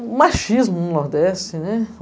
Ah, o machismo, no nordeste, né?